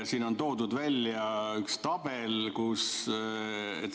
Siin on toodud välja üks tabel.